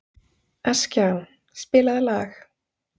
Askja, spilaðu lag.